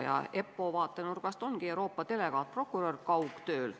EPPO vaatenurgast ongi Euroopa delegaatprokurör kaugtööl.